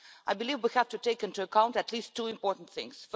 I believe we have to take into account at least two important things.